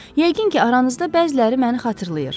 Yəqin ki, aranızda bəziləri məni xatırlayır.